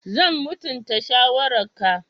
Zan mutunta shawararka.